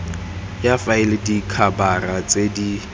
ya faele dikhabara tse di